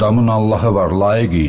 Adamın Allahı var, layiq idi.